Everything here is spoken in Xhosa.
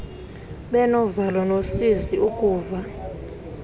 benovalo nosizi ukuva